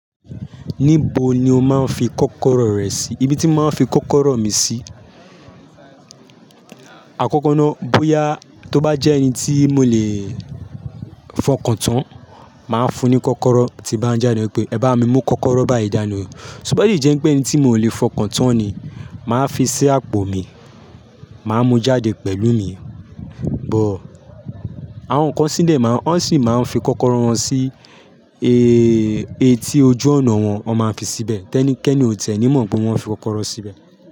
Níbo ni o máa ń fi kọ́kọ́rọ́ rẹ sí? Ibi tí màá fi kọ́kọ́rọ́ mi sí, àkọ́kọ́ náà bóyá tó bá jẹ́ ẹni tí mo lè fọkàn tán, màá fún un kọ́kọ́rọ́ tí bá ń jẹ́ ẹni pé, "Ẹ bá mi mú kọ́kọ́rọ́ báyìí dáni o." Soba de jẹ́ pé ẹni tí mò lè fọkàn tán ni, màá fi sí àpò mi, màá mú jáde pẹ̀lú mi. Bọ̀, àwọn kan sílẹ̀ máa ń, wọ́n sì máa ń fi kọ́kọ́rọ́ wọn sí e, etí ojú ọ̀nà wọn, wọ́n máa ń fi síbẹ̀. Tẹ́ní kẹ́ni ò tie ni mọ̀ pé wọ́n fi kọ́kọ́rọ́ síbẹ̀